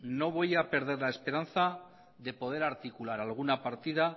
no voy a perder la esperanza de poder articular alguna partida